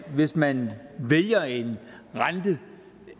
hvis man vælger en rente